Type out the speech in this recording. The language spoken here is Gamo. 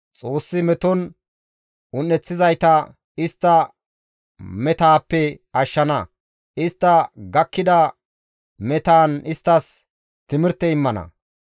Xoossi meton un7ettizayta istta metaappe ashshana; istta gakkida metaan isttas timirte immana.